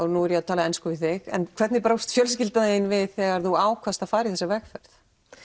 nú er ég að tala ensku við þig en hvernig brást fjölskylda þín við þegar þú ákvaðst að fara í þessa vegferð